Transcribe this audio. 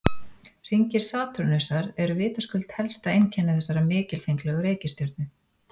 Hringir Satúrnusar eru vitaskuld helsta einkenni þessarar mikilfenglegu reikistjörnu.